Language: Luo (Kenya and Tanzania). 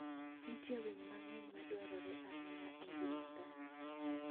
Nitie winy mang'eny madwarore ahinya e ngima dhano.